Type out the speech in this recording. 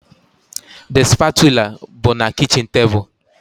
The spatula bụ na kichin table